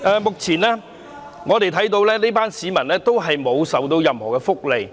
目前，這群市民並未享有任何福利。